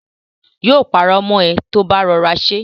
Yóò parọ́ mọ ẹ ti ò bá rọra ṣe